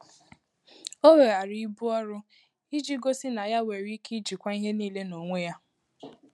Ọ́ wèghààrà íbù ọrụ́ ìjí gósí nà yá nwèrè íké íjíkwáá ìhè níílé n’ónwé yá.